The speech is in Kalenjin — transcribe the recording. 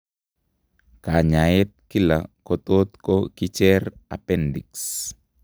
Kanyaet kila kotot ko kicher appendix